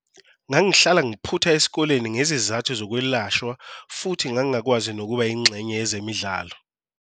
Ngangihlala ngiphutha esikoleni ngezizathu zokwelashwa futhi ngangingakwazi nokuba yingxenye yezemidlalo.